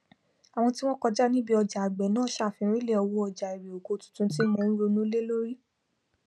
àwọn tí wọn kọjá níbí ọjà àgbẹ náà sàfírìnlẹ owó ọjà irè oko tuntun tí mò ń ronú lé lórí